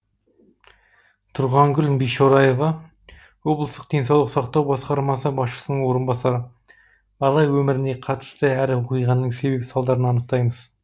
тұрғангүл бишораева облыстық денсаулық сақтау басқармасы басшысының орынбасары бала өміріне қатысты әр оқиғаның себеп салдарын анықтаймыз